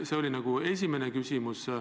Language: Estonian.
See oli esimene küsimus.